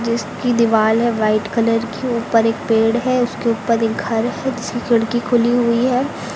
जिसकी दीवाल है वाइट कलर की। ऊपर एक पेड़ है उसके ऊपर एक घर है जिसकी खिड़की खुली हुई है।